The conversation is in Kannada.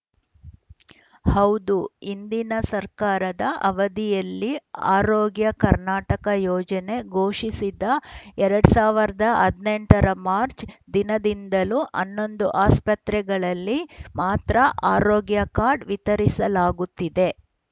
ಹೌದು ಹಿಂದಿನ ಸರ್ಕಾರದ ಅವಧಿಯಲ್ಲಿ ಆರೋಗ್ಯ ಕರ್ನಾಟಕ ಯೋಜನೆ ಘೋಷಿಸಿದ ಎರಡ್ ಸಾವಿರದ ಹದಿನೆಂಟ ರ ಮಾಚ್‌ರ್‍ ದಿನದಿಂದಲೂ ಹನ್ನೊಂದು ಆಸ್ಪತ್ರೆಗಳಲ್ಲಿ ಮಾತ್ರ ಆರೋಗ್ಯ ಕಾರ್ಡ್‌ ವಿತರಿಸಲಾಗುತ್ತಿದೆ